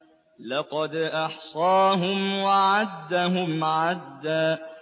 لَّقَدْ أَحْصَاهُمْ وَعَدَّهُمْ عَدًّا